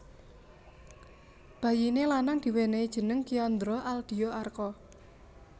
Bayiné lanang diwènèhi jeneng Kiandra Aldia Arka